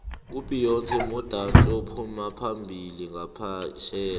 ubeyonce mudatsi ophumaphambili nqaphetjheya